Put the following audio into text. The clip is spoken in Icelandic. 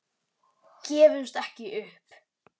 Gefumst ekki upp.